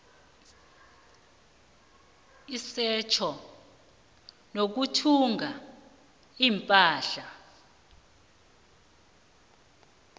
isetjho nokuthumba ipahla